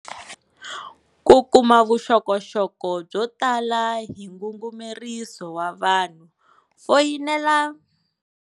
Ku kuma vuxokoxoko byo tala hi ngungumeriso wa vanhu foyinela.